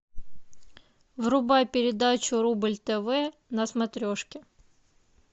врубай передачу рубль тв на смотрешке